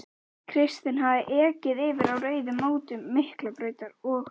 Kristinn hafði ekið yfir á rauðu á mótum Miklubrautar og